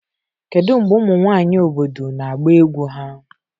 Kedu mgbe ụmụ nwanyị obodo na-agba egwu ha?